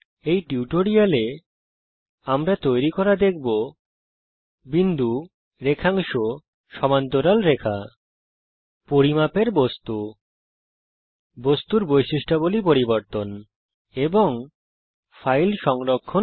এই টিউটোরিয়াল এ আমরা দেখব বিন্দু রেখাংশ সমান্তরাল রেখা তাছাড়া উল্লম্ব রেখা তৈরী করা পরিমাপের বস্তু বস্তুর বৈশিষ্ট্যাবলী পরিবর্তন এবং ফাইল সংরক্ষণ করা